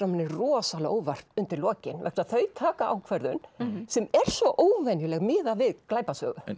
manni rosalega á óvart undir lokin vegna þess að þau taka ákvörðun sem er svo óvenjuleg miðað við glæpasögu